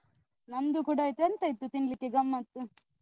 ನಂದು ಕೂಡ ಆಯ್ತು. ಎಂತ ಇತ್ತು ತಿನ್ಲಿಕ್ಕೆ ಗಮತ್ತು.